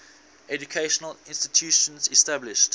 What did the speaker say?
educational institutions established